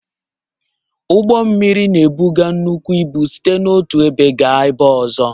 Ụgbọ mmiri na-ebuga nnukwu ịbụ site n'otu ebe gaa ebe ọzọ.